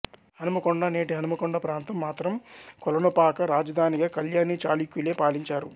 అనుమకొండ నేటి హన్మకొండ ప్రాంతం మాత్రం కొలనుపాక రాజధానిగా కళ్యాణి చాళుక్యులే పాలించారు